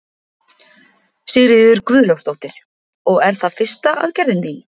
Sigríður Guðlaugsdóttir: Og er það fyrsta aðgerðin þín?